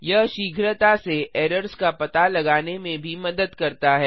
यह शीघ्रता से एरर्स का पता लगाने में भी मदद करता है